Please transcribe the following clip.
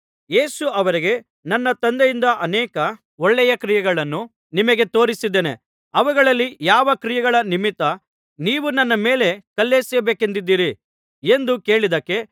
ಯೇಸು ಅವರಿಗೆ ನನ್ನ ತಂದೆಯಿಂದ ಅನೇಕ ಒಳ್ಳೆಯ ಕ್ರಿಯೆಗಳನ್ನು ನಿಮಗೆ ತೋರಿಸಿದ್ದೇನೆ ಅವುಗಳಲ್ಲಿ ಯಾವ ಕ್ರಿಯೆಗಳ ನಿಮಿತ್ತ ನೀವು ನನ್ನ ಮೇಲೆ ಕಲ್ಲೆಸೆಯಬೇಕೆಂದಿದ್ದೀರಿ ಎಂದು ಕೇಳಿದ್ದಕ್ಕೆ